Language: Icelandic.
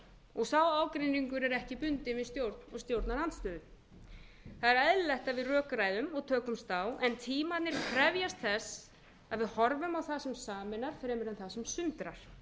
og sá ágreiningur er ekki bundinn við stjórn og stjórnarandstöðu það er eðlilegt að við rökræðum og tökumst á en tímarnir krefjast þess að við horfum á það sem sameinar fremur en það sem sundrar